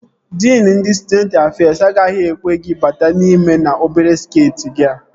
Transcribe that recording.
Diin ndị Stụdenti Afez agaghị ekwe gị bata n'ime n'obere skeeti gị a